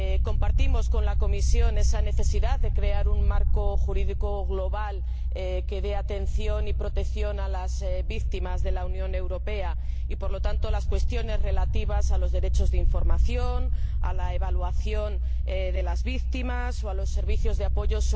Compartimos con la Comisión esa necesidad de crear un marco jurídico global que preste atención y protección a las víctimas de la Unión Europea, y abarque por lo tanto las cuestiones relativas a los derechos de información, a la evaluación de las víctimas o a los servicios de apoyo.